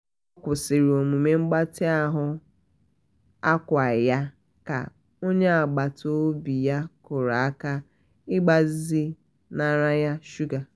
ọ kwụsịrị omume mgbatị ahụ ákwà ya ka onye agbata obi ya kụrụ aka ịgbazi nara ya shuga